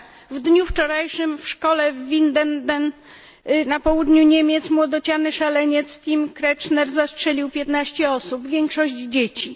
W dniu wczorajszym w szkole w Winnenden na południu Niemiec młodociany szaleniec Tim Kretschner zastrzelił piętnaście osób, w większości dzieci.